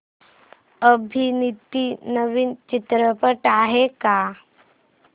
अभिनीत नवीन चित्रपट आहे का